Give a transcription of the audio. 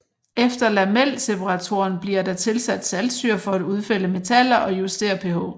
Efter lamelseperatoren bliver der tilsat saltsyre for at udfælde metaller og justere pH